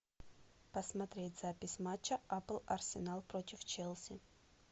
посмотреть запись матча апл арсенал против челси